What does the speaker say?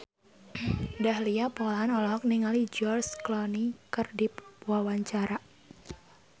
Dahlia Poland olohok ningali George Clooney keur diwawancara